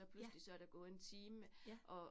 Ja. Ja